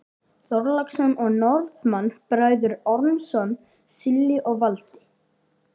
Þorláksson og Norðmann, Bræðurnir Ormsson, Silli og Valdi.